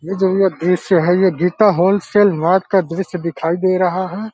ये जो ये दॄश्य है ये गीता होलसेल मार्ट का दॄश्य दिखाई दे रहा है।